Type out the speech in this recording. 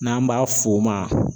N'an b'a f'o ma.